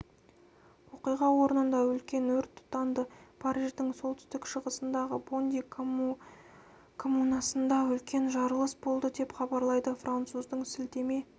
оқиға орнында үлкен өрт тұтанды париждің солтүстік-шығысындағы бонди коммунасында үлкен жарылыс болды деп хабарлайды француздың сілтеме